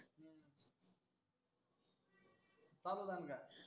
चालु दनका.